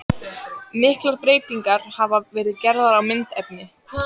Miklar breytingar hafa verið gerðar á myndefni.